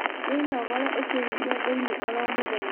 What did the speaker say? Wĩnogore ũkĩhihia thĩini oro mũthenya